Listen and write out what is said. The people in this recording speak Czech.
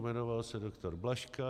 Jmenoval se doktor Blažka.